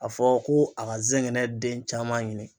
A fɔ ko a ka zɛngɛnɛ den caman ɲini.